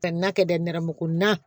Ka n'a kɛ dɛ nɛrɛmuguma